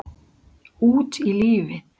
Út í lífið